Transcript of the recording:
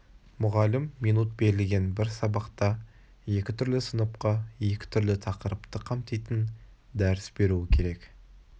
мұғалім минут берілген бір сабақта екі түрлі сыныпқа екі түрлі тақырыпты қамтитын дәріс беруі керек